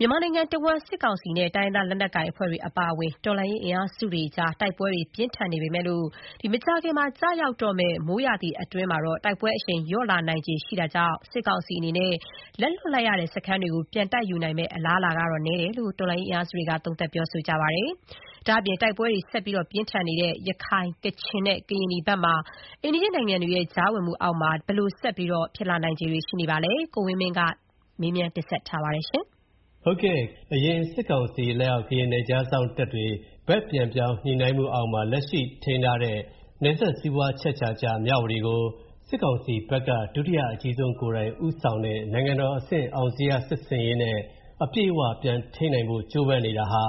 မြန်မာနိုင်ငံတဝန်း စစ်ကောင်စီနဲ့ တိုင်းရင်းသားလက်နက်ကိုင်အဖွဲ့တွေအပါအဝင် တော်လှန်းရေးအင်အားစုတွေအကြား တိုက်ပွဲတွေ ပြင်းထန်စွာ ဖြစ်ပေါ်နေပေမယ့် မကြာခင် ကျရောက်တော့မယ့် မိုးရာသီအတွင်း တိုက်ပွဲအရှိန်တွေ လျော့လာနိုင်ခြေရှိနေတာကြောင့် စစ်ကောင်စီအနေနဲ့ လက်လွတ်လိုက်ရတဲ့ စခန်းတွေကို ပြန်တိုက်ယူနိုင်မယ့် အလားအလာ နည်းတယ်လို့ တော်လှန်ရေးအင်အားစုတွေက သုံးသပ် ပြောဆိုပါတယ်။ ဒါ့အပြင် တိုက်ပွဲတွေဆက်ပြင်းထန်နေတဲ့ ရခိုင်၊ ကချင်နဲ့ ကရင်နီဖက်မှာရော အိမ်နီးချင်းနိုင်ငံတွေရဲ့ ကြားဝင်မှုအောက်မှာ ဘယ်လို ဆက်ဖြစ်လာနိုင်ခြေရှိပါလဲ။ ကိုဝင်းမင်းက မေးထားပါတယ်။ ဟုတ်ကဲ့ အရင်စစ်ကောင်စီလက်အောက် ကရင်နယ်ခြားစောင့်တပ်တွေ ဘက်ပြန်ပြောင်း ညှိနှိုင်းမှုအောက်မှာ လက်ရှိထိန်းထားတဲ့ နယ်စပ်စီးပွားအချက်အချာကျ မြဝတီကို စစ်ကောင်စီဘက်က ဒုတိယအကြီးဆုံးကိုယ်တိုင် ဦးဆောင်တဲ့ နိုင်ငံတော်အဆင့်အောင်ဇေယျစစ်ဆင်ရေးနဲ့ အပြည့်အဝပြန်ထိန်းနိုင်ဖို့ ကြိုးပမ်းနေတာဟာ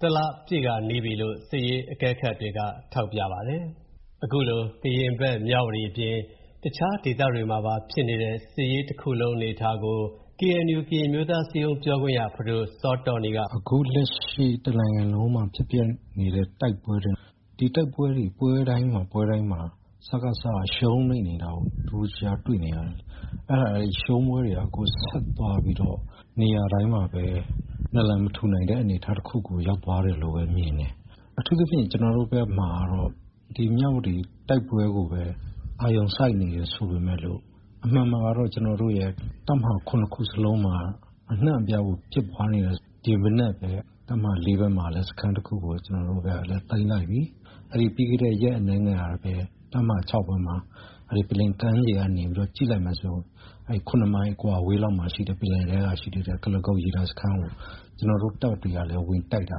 တလပြည့်ခါနီးပြီလို့ စစ်ရေးအကဲခတ်တွေက ထောက်ပြပါတယ်။ အခုလိုကရင်ဖက် မြဝတီအပြင် တခြားဒေသတွေမှာပါ ဖြစ်နေတဲ့ စစ်ရေးတခုလုံးအနေအထားကို KNU ကရင်အမျိုးသားအစည်းအရုံးပြောခွင့်ရ ဖဒိုစောတောနီးက "အခုလက်ရှိ တနိုင်ငံလုံးမှာဖြစ်ပျက်နေတဲ့ တိုက်ပွဲတွေ ပွဲတိုင်းမှာ စကစက ရှုံးနိမ့်နေတာကို တနေ့တခြားတွေ့နေရတယ်၊ ရှုံးပွဲတွေက ဆက်သွားပြီးတော့ နေရာတိုင်းမှာပဲ နလံမထူနိုင်တဲ့အနေအထားတခုကိုရောက်သွားတယ်လို့ပဲမြင်တယ်။ အထူးသဖြင့် ကျွန်တော်တို့ဘက်မှာကတော့ ဒီမြဝတီတိုက်ပွဲကိုပဲ အာရုံစိုက်နေတယ် ဆိုပေမဲ့လို့ အမှန်မှာကတော့ ကျွန်တော်တို့ရဲ့ တပ်မဟာ ၇ ခုစလုံးမှာ အနှံ့အပြားကိုဖြစ်ပွားနေတာ၊ ဒီမနက်ပဲ တပ်မဟာ ၄ ဘက်မှာလည်း စခန်းတခုကို ကျွန်တော်တို့ဘက်ကသိမ်းလိုက်ပြီ။ ပြီးခဲ့တဲ့ရက်အနည်းငယ်ကပဲ တပ်မဟာ ၆ ပွဲမှာ ပင်လယ်ကမ်းခြေကနေကြည့်လိုက်မယ်ဆိုရင် ၇ မိုင်အကွာအဝေးလောက်မှာရှိတဲ့ ပင်လယ်ထဲမှာရှိတဲ့ ကုလားကုတ်ရေတပ်စခန်းကို ဝင်တိုက်တာ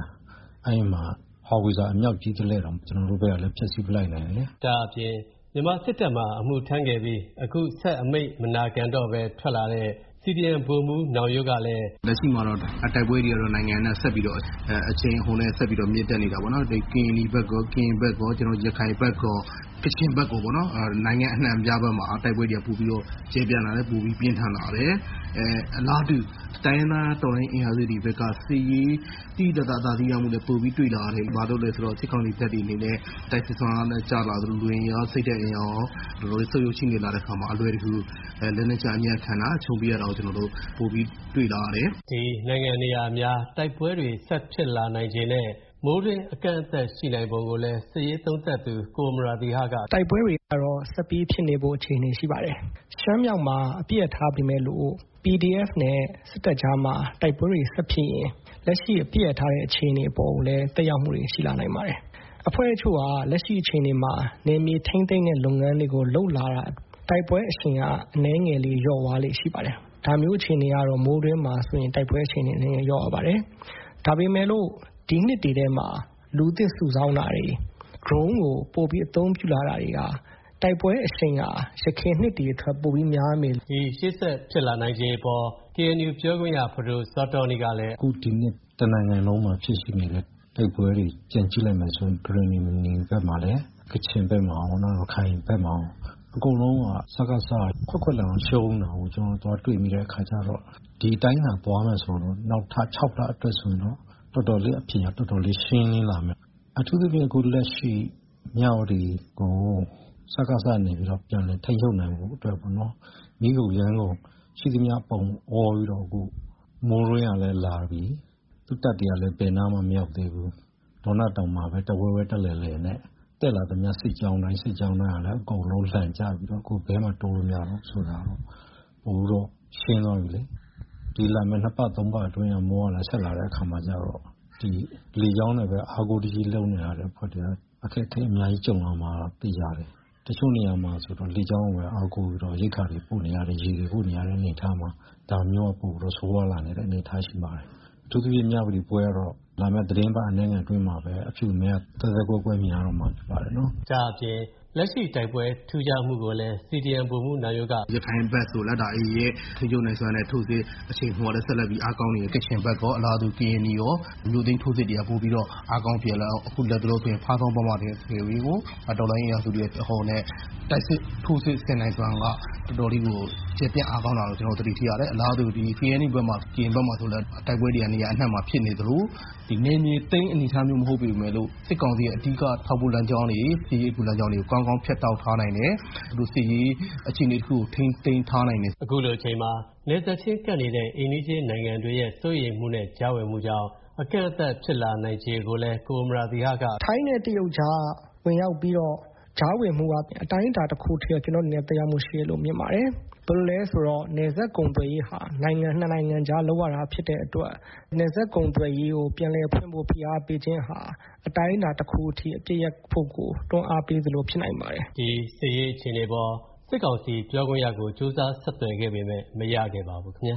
၊ အဲဒီမှာ ဟောင်ဝပ်ဆာအမြှောက်ကြီးတလက်တောင် ကျွန်တော်တို့ဘက်ကလည်း ဖျက်စီးပစ်လိုက်နိုင်တယ်။ ဒါ့အပြင် မြန်မာစစ်တပ်မှာ အမှုထမ်းခဲ့ပြီး အခုဆက်အမိန့် မနာခံတော့ပဲ ထွက်လာတဲ့ စီဒီအမ်ဗိုလ်မှူး နောင်ရိုးကလည်း "လက်ရှိမှာတော့ တိုက်ပွဲတွေက နိုင်ငံအနှံ့ဆက်ပြီးတော့ အရှိန်အဟုန်နဲ့ဆက်ပြီးတော့ မြင့်တက်နေတာပေါ့နော်၊ ကရင်နီဘက်ကော၊ ကရင်ဘက်ကော၊ ရခိုင်ဘက်ကော၊ ကချင်ဘက်ကောပေါ့နော် နိုင်ငံအနှံ့အပြားမှာ တိုက်ပွဲတွေက ပိုပြီးတော့ ကျယ်ပြန့်လာတယ်၊ ပိုပြီးတော့ ပြင်းထန်လာတယ်။ အလားတူတိုင်းရင်းသားအင်အားစုတွေဘက်က စစ်ရေးသိသိသာသာ အသာစီးရမှုလည်း ပိုပြီးတွေ့လာရတယ်၊ ဘာလို့လဲဆိုတော့ စစ်ကောင်စီတပ်တွေအနေနဲ့ တိုက်စစ်စွမ်းအားလည်းကျလာသလို လူအင်အားစိတ်ဓာတ်အင်အားလည်း ဆုတ်ယုတ်ချိနဲ့လာတဲ့အခါမှာ အလွယ်တကူ လက်နက်ချအညံ့ခံတာ၊ အရှုံးပေးရတာကို ကျွန်တော်တို့ ပိုပြီးတော့ တွေ့လာရတယ်။ " ဒီနိုင်ငံနေရာအများမှာ တိုက်ပွဲတွေ ဖြစ်လာနိုင်ချေနဲ့ မိုးတွင်းအကန့်အသတ်ရှိနိုင်ပုံကိုလည်း စစ်ရေးသုံးသပ်သူ ကိုအမရာသီဟက "တိုက်ပွဲတွေကတော့ ဆက်ပြီးဖြစ်နေဖို့ အခြေအနေရှိပါတယ်။ ရှမ်းမြောက်မှာအပစ်ရပ်ထားပေမဲ့လို့ PDF နဲ့စ်တပ်ကြားမှာ တိုက်ပွဲတွေဆက်ဖြစ်ရင် လက်ရှိအပစ်ရပ်ထားတဲ့အခြေအနေအပေါ်ကိုလည်း သက်ရောက်မှုတွေရှိလာနိုင်ပါတယ်။ အဖွဲ့အချို့ဟာ လက်ရှိအခြေအနေမှာ နယ်မြေထိန်းသိမ်းတဲ့လုပ်ငန်းတွေကို လုပ်လာတာ တိုက်ပွဲအရှိန်က အနည်းငယ်လေးလျော့သွားလေ့ရှိပါတယ်။ ဒါမျိုးအခြေအနေကတော့ မိုးတွင်းမှာဆိုရင် တိုက်ပွဲအရှိန်နည်းနည်းလျော့သွားပါတယ်။ ဒါပေမဲ့လို့ ဒီနှစ်တွေထဲမှာ လူသစ်စုဆောင်းတာတွေ ဒရုန်းကိုပိုပြီးအသုံးပြုလာတာတွေဟာ တိုက်ပွဲအရှိန်ဟာ ယခင်နှစ်တွေထက်ပိုပြီးများမယ်" ရှေ့ဆက်ဖြစ်လာနိုင်ချေအပေါ် KNU ပြောခွင့်ရ ဖဒိုစောတောနီးကလည်း "အခုဒီနှစ် တနိုင်ငံလုံးမှာ ဖြစ်နေတဲ့ တိုက်ပွဲတွေပြန်ကြည့်လိုက်မယ်ဆိုရင် ကရင်နီဘက်မှာ၊ ကချင်ဘက်၊ ရခိုင်ဘက်မှာကော စကစက ခွက်ခွက်လန်အောင်ရှုံးနေတာကို ကျွန်တော်တို့သွားတွေ့နေတဲ့အခါကျတော့ ဒီအတိုင်းသာသွားမယ်ဆိုရင် နောက်ထပ် ၆ လအတွက်ဆိုရင်တော့ အဖြေက တော်တော်လေးရှင်းလင်းလာမယ်။ အထူးသဖြင့်အခုလက်ရှိ မြဝတီကို စကစကနေပြီးတော့ ပြန်လည်ထိန်းချုပ်နိုင်ဖို့အတွက်ကို မီးကုန်ယမ်းကုန် ရှိသမျှပုံအောပြီးတော့အခုမိုးတွင်းကလည်းလာပြီ သူ့တပ်တွေကလည်း ဘယ်နားမှမရောက်သေးဘူး၊ ဒေါနတောင်မှာပဲ တဝဲဝဲတလည်လည်နဲ့ တက်လာသမျှစစ်ကြောင်းတိုင်းစစ်ကြောင်းတိုင်းကလည်း အကုန်လုံးလန်ကျပြီးတော့ ဘယ်မှတိုးလို့မရဘူးဆိုတာက အခုတော့ရှင်းသွားပြီလေ ဒီလာမဲ့ နှစ်ပတ်သုံးပတ်အတွင်း မိုးကလည်း ဆက်လာတဲ့အခါကျတော့ ဒီလေကြောင်းနဲ့ပဲ အားကိုတကြီးလုပ်နေတဲ့အတွက် အခက်အခဲအများကြီးကြုံလာမှာသေချာတယ်။ တချို့နေရာမှာ လေကြောင်းကိုပဲ အားကိုပြီးတော့ ရိက္ခာတွေပို့နေရတယ်၊ ရေတွေပို့နေရတဲ့ အနေအထားမှာ ဒါမျိုးကပိုပြီးတော့ ဆိုးရွားလာနိုင်တဲ့အနေအထားရှိပါတယ်။ အထူးသဖြင့် မြဝတီပွဲကတော့ လာမဲ့သတင်းပတ်အနည်းငယ်အတွင်းမှာပဲ အဖြူအမဲ သဲသဲကွဲကွဲမြင်ရတော့မှာ ဖြစ်ပါတယ်နော်" ဒါ့အပြင် လက်ရှိတိုက်ပွဲထူးခြားမှုကိုလည်း စီဒီအမ်ဗိုလ်မှူးနောင်ရိုးက "ရခိုင်ဘက်ဆိုလည်း ဒါ AA ရဲ့ ထိန်းချုပ်နိုင်စွမ်းနဲ့ ထိုးစစ်အရှိန်အဟုန်ကလည်း ဆက်လက်ပြီးအားကောင်းနေတယ် ၊ ကချင်ဘက်ကော အလားတူ၊ ကရင်နီကော မြို့သိမ်းထိုးစစ်တွေက ပိုပြီးတော့ အားကောင်းလာတော့ အခုလက်တလောအတွင်းဖားဆောင်းမှာ တော်လှန်ရေးအင်အားစုတွေအရှိန်အဟုန်နဲ့ တိုက်စစ်ထိုးစစ်ဆင်နိုင်စွမ်းက တော်တော်လေးကို ကျယ်ပြန့်အားကောင်းလာတာကို ကျွန်တော်တို့ တွေ့ရတယ်၊ အလားတူ KNU ဘက်မှာဆိုလည်း တိုက်ပွဲတွေက နေရာအနှံ့မှာဖြစ်နေသလို နယ်မြေသိမ်းအနေအထားမျိုးမဟုတ်ပေမဲ့လို့ စစ်ကောင်စီရဲ့ အဓိကထောက်ပို့လမ်းကြောင်းတွေ စစ်ရေးအကူလမ်းကြောင်းတွေကို ကောင်းကောင်းဖြတ်တောက်ထားနိုင်တယ်။ သူတို့စစ်ရေးအခြေအနေတခုကို ထိန်းသိမ်းထားနိုင်တယ်။" အခုလိုအချိန်မှာ နယ်စပ်ချင်းကပ်နေတဲ့ အိမ်နီးချင်းနိုင်ငံတွေရဲ့ စိုးရိမ်မှုနဲ့ ကြားဝင်မှုကြောင့် အကန့်အသတ်ဖြစ်လာနိုင်ချေကိုလည်း ကိုအမရာသီဟက "ထိုင်းနဲ့တရုတ် ကြားကဝင်ရောက်ပြီးတော့ ကြားဝင်မှုအားဖြင့် အတိုင်းအတာတခုထိတော့ ကျွန်တော့်အနေနဲ့သက်ရောက်မှုရှိတယ်လို့တော့ မြင်ပါတယ်။ ဘယ်လိုလည်းဆိုတော့ နယ်စပ်ကုန်သွယ်ရေးဟာ နိုင်ငံနှစ်နိုင်ငံအကြားလုပ်ရတာဖြစ်တဲ့အတွက် နယ်စပ်ကုန်သွယ်ရေးကို ပိုမိုပြန်လည်ဖိအားပေးခြင်းဟာ အတိုင်းအတာတခုအထိ အပစ်ရပ်ဖို့ကို တွန်းအားပေးသလိုဖြစ်နိုင်ပါတယ်" ဒီစစ်ရေးအခြေအနေအပေါ် စစ်ကောင်စီပြောခွင့်ရကို ကြိုးစားဆက်သွယ်ခဲ့ပေမဲ့ မရခဲ့ပါဘူးခင်ဗျာ